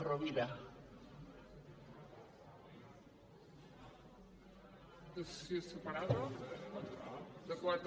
votació separada de quatre